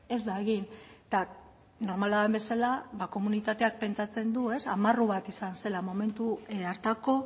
ez da egin eta normala den bezala ba komunitateak pentsatzen du amarru bat izan zela momentu hartako